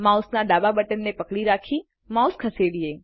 માઉસના ડાબા બટનને પકડી રાખી માઉસ ખસેડીએ